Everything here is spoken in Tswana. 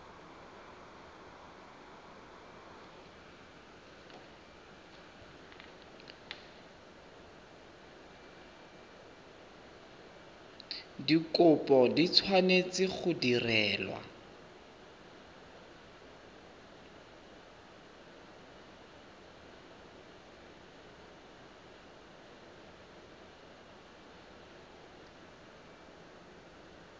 dikopo di tshwanetse go direlwa